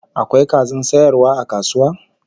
Akwai kazan sayarwa a kasuwa?